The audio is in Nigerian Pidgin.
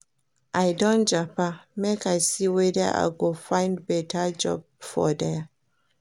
I don japa make I see weda I go find beta job for there.